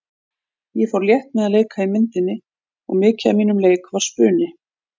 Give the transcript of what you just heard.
Ég fór létt með að leika í myndinni og mikið af mínum leik var spuni.